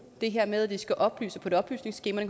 det her med at vi skal oplyse på et oplysningsskema